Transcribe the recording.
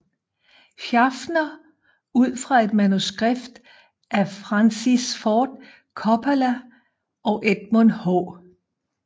Schaffner ud fra et manuskript af Francis Ford Coppola og Edmund H